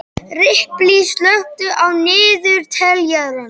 Ripley, slökktu á niðurteljaranum.